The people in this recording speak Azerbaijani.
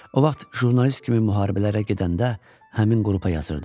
O vaxt jurnalist kimi müharibələrə gedəndə həmin qrupa yazırdım.